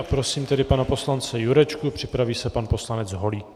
A prosím tedy pana poslance Jurečku, připraví se pan poslanec Holík.